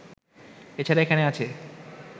এ ছাড়া এখানে আছে